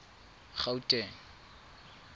gauteng